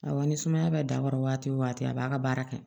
Awɔ ni sumaya bɛ dabɔra wagati o wagati a b'a ka baara kɛ